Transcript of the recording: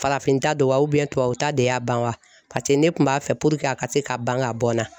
Farafin da don wa tubabuta de y'a ban wa, paseke ne kun b'a fɛ puruke a ka se ka ban ka bɔ n na.